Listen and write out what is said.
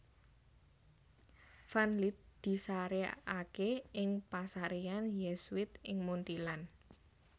Van Lith disarèkaké ing pasaréyan Yésuit ing Munthilan